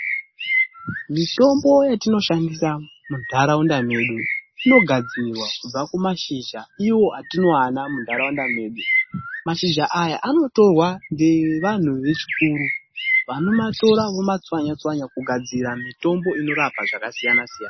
Mitombo yetinoshandisa muntaraunda medu inogadzirwa kubva kumashizha iwo atinowana muntaraunda medu. Mashizha aya anotorwa ngevantu vechikuru. Vanomatora vomatswanya tswanya kugadzira mitombo inorapa zvakasiyana-siyana.